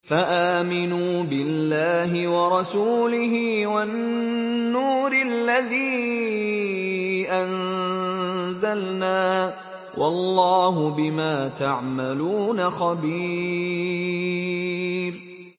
فَآمِنُوا بِاللَّهِ وَرَسُولِهِ وَالنُّورِ الَّذِي أَنزَلْنَا ۚ وَاللَّهُ بِمَا تَعْمَلُونَ خَبِيرٌ